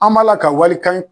An m'a la ka walikan